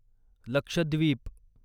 Lakshadweep